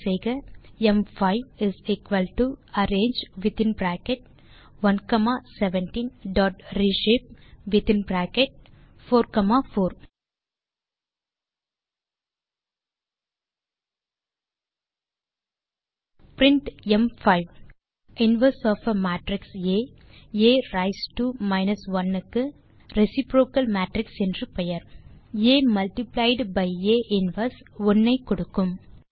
type செய்க ம்5 அரங்கே வித்தின் பிராக்கெட் 1 காமா 17ரேஷப்பே within square bracket 4 comma 4 print ம்5 inverse of a matrix a a raise to minus one க்கு reciprocal matrix என்றும் பெயர் a multiplied by a inverse 1 ஐ கொடுக்கும்